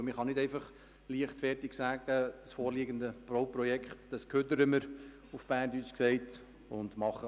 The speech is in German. Denn man kann nicht einfach leichtfertig sagen, dass man das vorliegende Bauprojekt abbricht und alles neu macht.